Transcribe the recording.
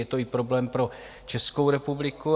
Je to i problém pro Českou republiku.